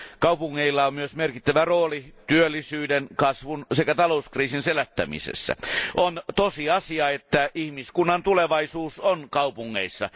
Kaupungeilla on myös merkittävä rooli työllisyyden, kasvun sekä talouskriisin selättämisessä. On tosiasia, että ihmiskunnan tulevaisuus on kaupungeissa.